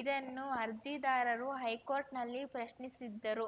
ಇದನ್ನು ಅರ್ಜಿದಾರರು ಹೈಕೋರ್ಟ್‌ನಲ್ಲಿ ಪ್ರಶ್ನಿಸಿದ್ದರು